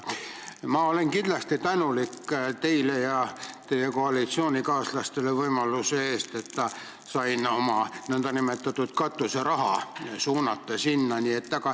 Ma olen tänulik teile ja teie koalitsioonikaaslastele võimaluse eest, et sain oma nn katuseraha sinna suunata.